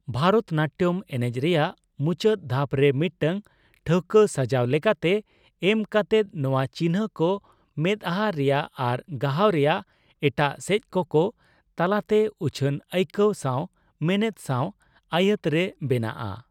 ᱵᱷᱟᱨᱚᱛ ᱱᱟᱴᱴᱚᱱ ᱮᱱᱮᱡ ᱨᱮᱭᱟᱜ ᱢᱩᱪᱟᱹᱫ ᱫᱷᱟᱯ ᱨᱮ, ᱢᱤᱫᱴᱟᱝ ᱴᱷᱟᱹᱣᱠᱟᱹ ᱥᱟᱡᱟᱣ ᱞᱮᱠᱟᱛᱮ ᱮᱢ ᱠᱟᱛᱮᱜ ᱱᱚᱣᱟ ᱪᱤᱱᱦᱟᱹ ᱠᱚ ᱢᱮᱫᱦᱟ ᱨᱮᱭᱟᱜ ᱟᱨ ᱜᱟᱦᱟᱣ ᱨᱮᱭᱟᱜ ᱮᱴᱟᱜ ᱥᱮᱪ ᱠᱚ ᱠᱚ ᱛᱟᱞᱟᱛᱮ ᱩᱪᱷᱟᱹᱱ ᱟᱭᱠᱟᱹᱣ ᱥᱟᱣ ᱢᱮᱱᱮᱛ ᱥᱟᱣ ᱟᱭᱟᱹᱛ ᱨᱮ ᱵᱮᱱᱟᱜᱼᱟ ᱾